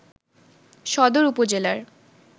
সদর উপজেলার